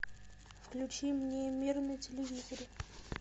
включи мне мир на телевизоре